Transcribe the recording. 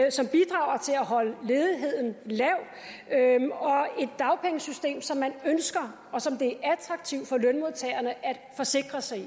holde ledigheden lav et dagpengesystem som man ønsker og som det er attraktivt for lønmodtagerne at forsikre sig i